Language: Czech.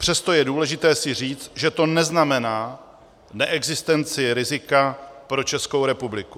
Přesto je důležité si říct, že to neznamená neexistenci rizika pro Českou republiku.